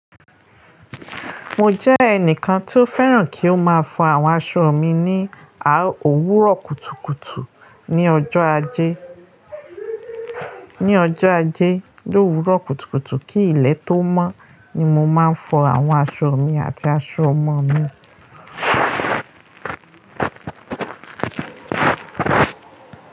Mo jẹ́ ẹnìkan tí ó fẹ́ràn kí ó máa fọ àwọn aṣọ mi ní òwúrọ̀ kùtùkùtù ní ọjọ́ Ajé, ní ọjọ́ Ajé ni òwúrọ̀ kùtùkùtù kí ilẹ̀ tó mọ́ ni mo máa ń fọ àwọn aṣọ mi àti aṣọ ọmọ mi.